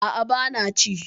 Aa, bana ci